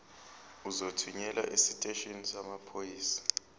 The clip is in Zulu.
uzothunyelwa esiteshini samaphoyisa